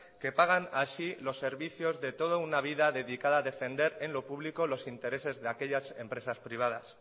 que pagan así los servicios de toda una vida dedicada a defender en lo público los intereses de aquellas empresas privadas